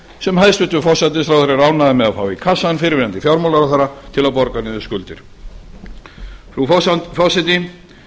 sem hæstvirtur forsætisráðherra er ánægður með að fá í kassann fyrrverandi fjármálaráðherra til að borga niður skuldir frú forseti